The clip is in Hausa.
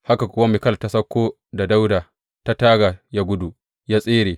Haka kuwa Mikal ta sauko da Dawuda ta taga ya gudu, ya tsere.